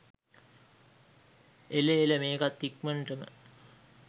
එල එල මේකත් ඉක්මන්ටම